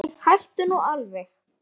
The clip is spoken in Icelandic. Nei, hættu nú alveg!